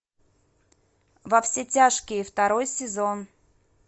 во все тяжкие второй сезон